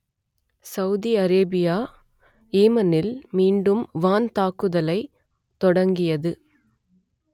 Saudi Arabia ஏமனில் மீண்டும் வான் தாக்குதலை தொடங்கியது